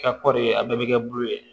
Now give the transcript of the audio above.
kɔɔri a bɛɛ bɛ kɛ bulu ye